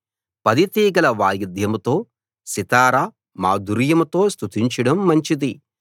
పది తీగల వాయిద్యంతో సితారా మాధుర్యంతో స్తుతించడం మంచిది